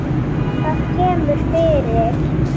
Það kemur fyrir.